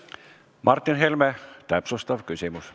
Martin Helme, täpsustav küsimus.